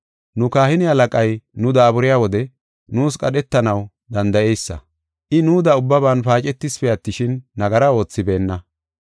Nu kahine halaqay nu daaburiya wode nuus qadhetanaw danda7eysa. I nuuda ubbaban paacetisipe attishin, nagara oothibeenna.